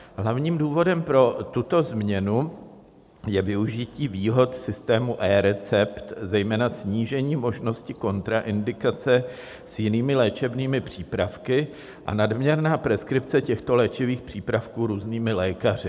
Hlavním důvodem pro tuto změnu je využití výhod systému eRecept, zejména snížením možnosti kontraindikace s jinými léčebnými přípravky a nadměrná preskripce těchto léčivých přípravků různými lékaři.